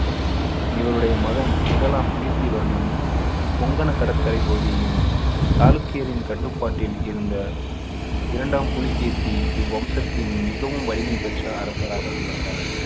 இவருடைய மகன் முதலாம் கீர்த்திவர்மன் புங்கன கடற்கரை பகுதியையும் சாளுக்கியரின் கட்டுப்பாட்டில் இருந்த இரண்டாம் புலிகேசி இவ்வம்சத்தின் மிகவும் வலிமை பெற்ற அரசராக திகழ்ந்தார்